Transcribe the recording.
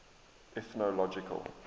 ethnological